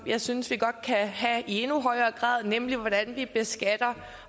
jeg synes vi godt kan have i endnu højere grad nemlig om hvordan vi beskatter